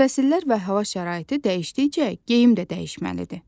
Fəsillər və hava şəraiti dəyişdikcə geyim də dəyişməlidir.